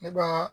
Ne ba